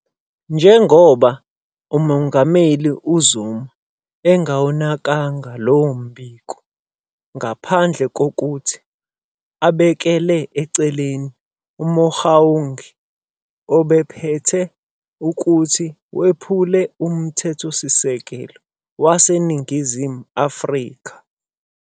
Njengoba uMengameli uZuma angawunakanga lowo mbiko ngaphandle kokuthi abekele eceleni, uMogoeng ubephethe ukuthi wephule uMthethosisekelo waseNingizimu Afrika-